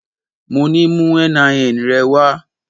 Mo ní mú NIN rẹ wá.